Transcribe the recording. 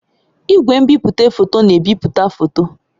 Igwe nbipute foto na-ebipụta foto.